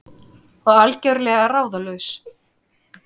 Og algjörlega ráðalaus.